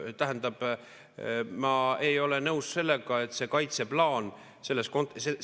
Tähendab, ma ei ole nõus sellega, et see kaitseplaan.